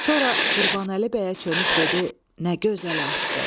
Sonra Qurbanəli bəyə çönüb dedi: Nə gözəl atdı!